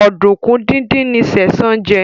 Oduku dín dín ní Sesan jé.